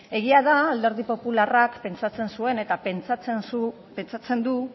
egia da alderdi popularrak pentsatzen zuen eta pentsatzen du